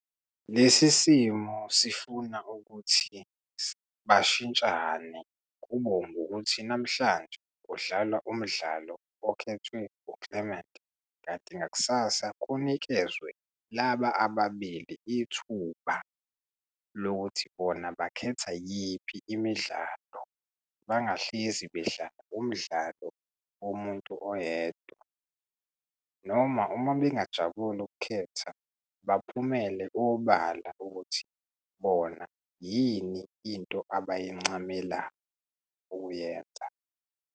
Lesi simo sifuna ukuthi bashintshane kubo ngokuthi namhlanje kudlalwa umdlalo okhethwe u-Clement. Kanti ngakusasa kunikezwe laba ababili ithuba lokuthi bona bakhetha yiphi imidlalo, bangahlezi bedlala umdlalo womuntu oyedwa, noma uma bengajabuli ukukhetha baphumelele obala ukuthi bona yini into abayincamela ukuyenza.